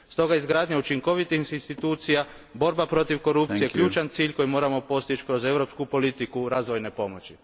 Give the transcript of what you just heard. Stoga su izgradnja učinkovitih institucija i borba protiv korupcije ključan cilj koji moramo postići kroz europsku politiku razvojne pomoći.